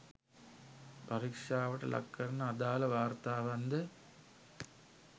පරීක්ෂාවට ලක් කර අදාළ වාර්තාවන්ද